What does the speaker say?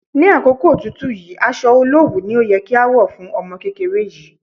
Ní àkókò òtútù yìí, aṣọ olowu ni ó yẹ kí a wọ̀ fún ọmọ kékeré yìí.